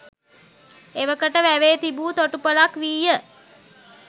එවකට වැවේ තිබූ තොටුපළක් වීය.